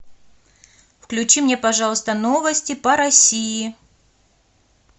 включи мне пожалуйста новости по россии